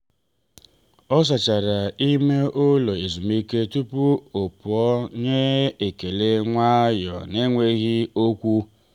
ọ sachara ime ụlọ ezumike tupu ọ ọ pụọ nye ekele nwayọọ n’enweghị okwu.